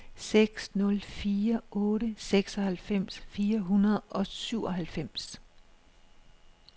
seks nul fire otte seksoghalvfems fire hundrede og syvoghalvfems